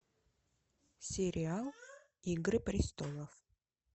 сериал игры престолов